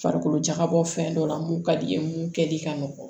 Farikolo jakabɔ fɛn dɔ la mun ka di ye mun kɛ di ka nɔgɔn